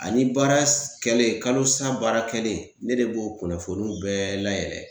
Ani baara s kɛlen kalosa baara kɛlen ne de b'o kunnafonuw bɛɛ layɛlɛ